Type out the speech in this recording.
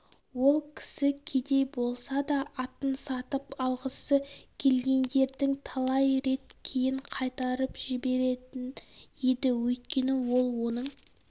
ол кісі кедей болса да атын сатып алғысы келгендерді талай рет кейін қайтарып жіберетін еді өйткені ол оның